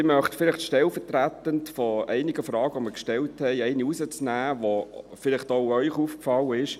Ich möchte stellvertretend für einige Fragen, die wir gestellt haben, eine herausnehmen, welche auch Ihnen aufgefallen ist.